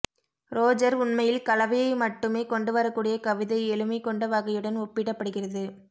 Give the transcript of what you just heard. Roger உண்மையில் கலவையை மட்டுமே கொண்டுவரக்கூடிய கவிதை எளிமை கொண்ட வகையுடன் ஒப்பிடப்படுகிறது